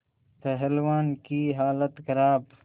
पहलवान की हालत खराब